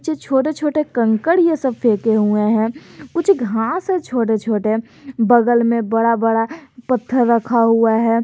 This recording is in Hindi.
छोटे छोटे कंकड़ ये सब फेके हुए हैं कुछ घांस है छोटे छोटे बगल में बड़ा बड़ा पत्थर रखा हुआ है।